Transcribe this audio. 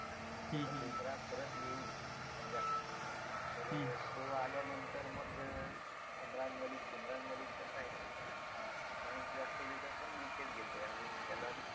आणि जसं बुमराह परत येईल संघात तर तो आल्यानंतर मग उमरान मलिक, उमरान मलिक कसं आहे अं runs जास्त देतोय पण wicket घेतोय अजून त्याला